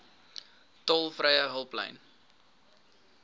tolvrye hulplyn